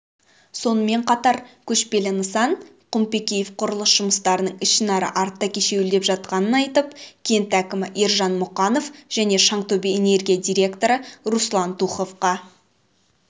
сонымен қатар көшпелі нысан құмпекеев құрылыс жұмыстарының ішінара артта кешеуілдеп жатқанын айтып кент әкімі ержан мұқанов және шаңтөбе-энергия директоры руслан туховқа